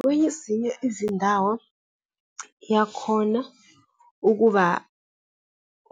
Kwezinye izindawo iyakhona ukuba